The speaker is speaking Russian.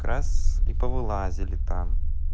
раз и повылазили там